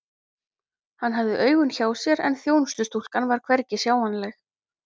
Hann hafði augun hjá sér en þjónustustúlkan var hvergi sjáanleg.